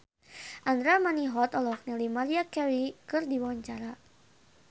Andra Manihot olohok ningali Maria Carey keur diwawancara